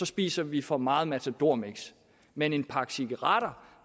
spiser vi for meget matadormix men en pakke cigaretter